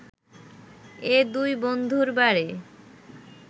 এ দুই বন্ধুর বাড়ি